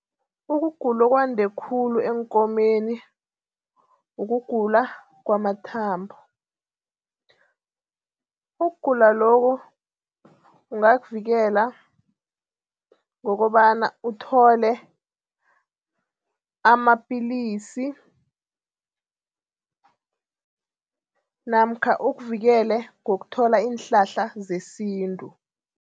Ukugula okwande khulu eenkomeni ukugula kwamathambo. Ukugula lokhu ungakuvikela ngokobana uthole amapilisi namkha ukuvikele ngokuthola iinhlahla zesintu.